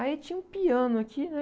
Aí tinha um piano aqui, né?